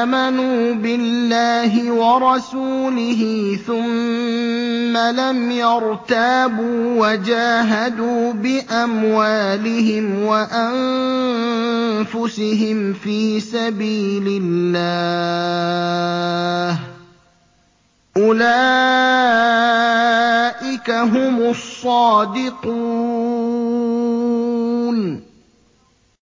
آمَنُوا بِاللَّهِ وَرَسُولِهِ ثُمَّ لَمْ يَرْتَابُوا وَجَاهَدُوا بِأَمْوَالِهِمْ وَأَنفُسِهِمْ فِي سَبِيلِ اللَّهِ ۚ أُولَٰئِكَ هُمُ الصَّادِقُونَ